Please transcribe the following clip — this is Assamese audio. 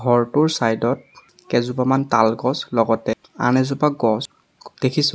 ঘৰটোৰ চাইড ত কেইজোপামান তাল গছ লগতে আন এজোপা গছ দেখিছোঁ।